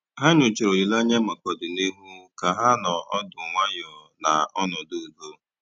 Ha nyòchàra òlìlè ànyá maka ọ̀dị̀nihú kà ha nọ̀ ọ́dụ́ nwayọ́ ná ọnọ́dụ́ ùdò.